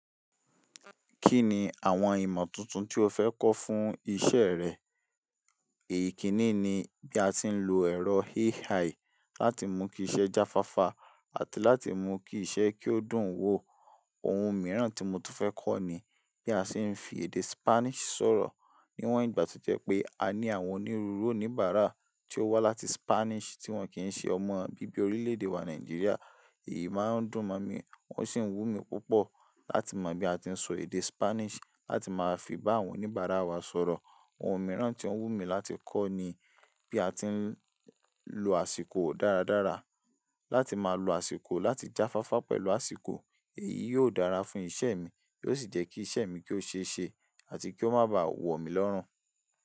Kí ni àwọn ìmọ̀ tuntun tí o fẹ́ kọ́ fún isẹ́ rẹ? Ikìní ni bí a ti ń lo ẹ̀rọ AI láti mú kí iṣẹ́ jáfáfá àti láti mú kí iṣẹ́ kí ó dùn wo. Ohun mìíràn tí mo tún fẹ́ kọ́ ni bí a ṣe ń fi èdè Spanish sọ̀rọ̀. Níwọ́n ìgbà to jẹ́ pé a ní àwọn onírúurú oníbàárà tí ó wá láti Spanish tí wọ́n kì í ṣe ọmọ bíbí orílẹ̀-èdè wa Nàìjíríà, èyí máa ń dùn mọ̀ mí o sì ń wú mi púpọ̀ láti mọ bí a ti ń sọ èdè Spanish láti máa fi bá àwọn oníbàárà wa sọ̀rọ̀. Ohun mìíràn tí ó n wù mí láti kọ́ ni bí a ti ń lo àsìkò dáradára. Láti máa lo àsìkò láti jáfáfá pẹ̀lú àsìkò, èyí yóò dára fún ìṣe mi, yóò sì jẹ́ kí ìṣe mi kí ó ṣe é ṣe àti kí ó má báa wọ̀ mí lọ́run.